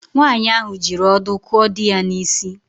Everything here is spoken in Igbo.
Nwaanyị ahụ jiri ọdụ kụọ di ya n’isi